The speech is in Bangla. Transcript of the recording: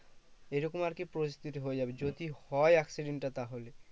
এইরকম আর কি পরিস্থিতি হয়ে যাবে যদি হয়ে accident টা তাহলে